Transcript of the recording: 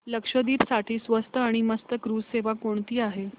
लक्षद्वीप साठी स्वस्त आणि मस्त क्रुझ सेवा कोणती आहे